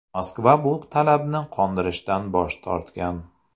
Moskva bu talabni qondirishdan bosh tortgan.